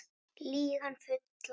Lýg hann fullan